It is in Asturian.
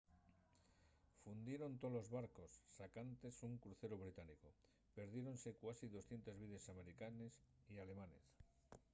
fundieron tolos barcos sacantes un cruceru británicu perdiéronse cuasi 200 vides americanes y alemanes